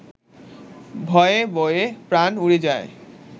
ভয়ে বয়ে প্রাণ উড়ে যায়